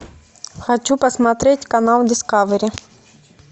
хочу посмотреть канал дискавери